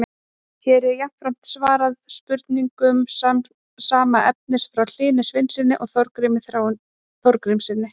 Hér er jafnframt svarað spurningum sama efnis frá Hlyni Sveinssyni og Þorgrími Þorgrímssyni.